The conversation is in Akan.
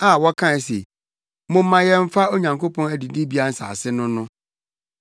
a wɔkae se, “Momma yɛmfa Onyankopɔn adidibea nsase no no.”